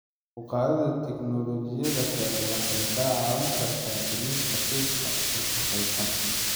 Kor u qaadida teknolojiyadda kale waxay ka caawin kartaa dhimista qiiqa wasakhaysan.